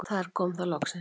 Þar kom það loksins.